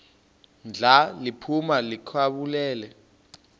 ndla liphuma likhawulele